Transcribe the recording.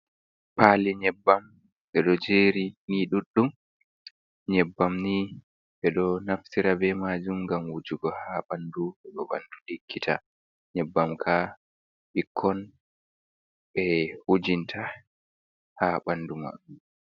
Paali nyebbam, ɓe ɗo jeeri ni ɗuɗɗum, nyebbam ni ɓe ɗo naftira ɓe maajum ngam wujugo haa ɓandu, heɓa ɓandu ɗiggita, nyebbam kaa ɓikkon ɓe wujinta haa ɓandu maɓɓe.